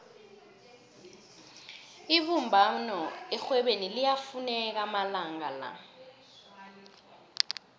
ibumbano erhwebeni liyafuneka amalanga la